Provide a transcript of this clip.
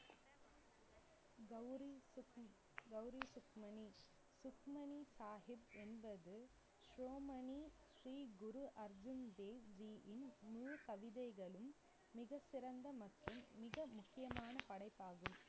கௌரி சுக்ம~ கௌரி சுக்மணி, சுக்மணி சாஹிப் என்பது சோமணி ஸ்ரீ குரு அர்ஜன் தேவ் ஜியின் முழு கவிதைகளும், மிகச்சிறந்த மற்றும் மிக முக்கியமான படைப்பாகும்.